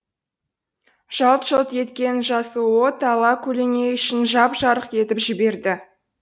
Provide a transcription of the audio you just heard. жалт жұлт еткен жасыл от ала көлеңе үй ішін жап жарық етіп жіберді